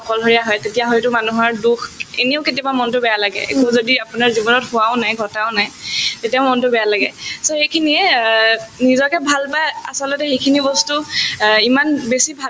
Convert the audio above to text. অকলশৰীয়া হয় তেতিয়াহলেতো মানুহৰ দুখ এনেও কেতিয়াবা মনতো বেয়া লাগে যদি আপোনাৰ জীৱনত হোৱাও নাই ঘটাও নাই তেতিয়াও মনতো বেয়া লাগে so সেইখিনিয়ে অ নিজকে ভাল বা আচলতে সেইখিনি বস্তু অ ইমান বেছি